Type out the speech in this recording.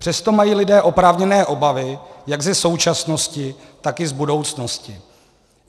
Přesto mají lidé oprávněné obavy jak ze současnosti, tak i z budoucnosti.